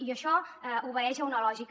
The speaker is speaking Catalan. i això obeeix a una lògica